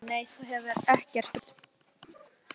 SÓLA: Nei, þú hefur ekkert breyst.